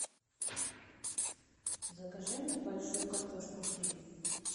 закажи мне большую картошку фри